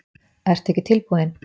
Ertu ekki tilbúinn?